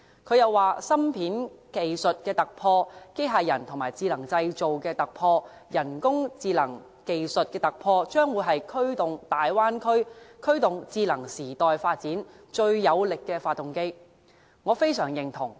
他又說芯片技術的突破、機械人與智能製造的突破、人工智能技術的突破，將會是驅動大灣區、驅動智能時代發展最有力的發動機。